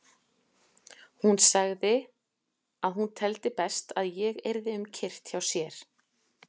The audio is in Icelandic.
Hún sagði að hún teldi best að ég yrði um kyrrt hjá sér.